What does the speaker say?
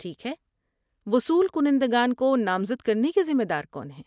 ٹھیک ہے، وصول کنندگان کو نامزد کرنے کے ذمہ دار کون ہیں؟